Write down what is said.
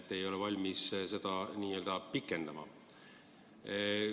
Te ei ole valmis seda pikendama.